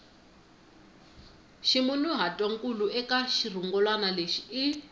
ximunhuhatwankulu eka xirungulwana lexi i